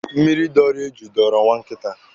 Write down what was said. Mmịrị dọọrọ eju dọọrọ nwa nkịta.